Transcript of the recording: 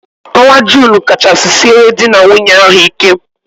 Ọnwa Junu kachasị siere dị na nwunye ahụ ike.